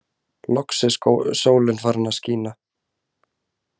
Loks er sólin farin að skína.